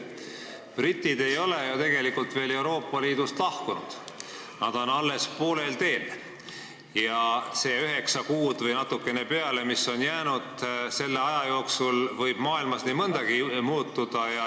Britid ei ole ju tegelikult veel Euroopa Liidust lahkunud, nad on alles poolel teel ja selle üheksa kuu või natukene pikema aja jooksul, mis on selleni jäänud, võib maailmas nii mõndagi muutuda.